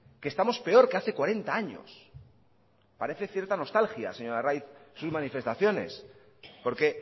que estamos peor que hace cuarenta años parece cierta nostalgia señor arraiz sus manifestaciones porque